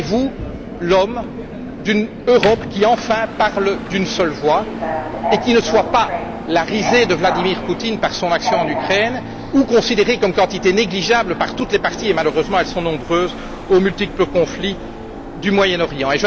Serez vous l'homme d'une Europe qui, enfin, parle d'une seule voix et qui ne soit pas la risée de Vladimir Poutine par son action en Ukraine ou considérée comme quantité négligeable par toutes les parties et, malheureusement, elles sont nombreuses aux multiples conflits du Moyen Orient?